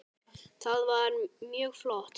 Það var mjög flott.